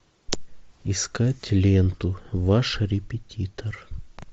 искать ленту ваш репетитор